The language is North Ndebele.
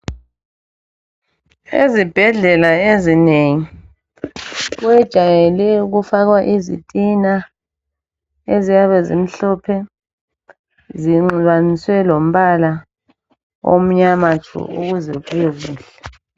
Ezibhedlela ezinengi kwejayele ukufakwa izitina eziyabe zimhlophe zinxibaniswe lombala omnyama tshu ukuze kubekuhle.